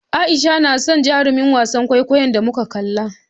A'isha na son jarumin wasan kwaikwayon da muka kalla.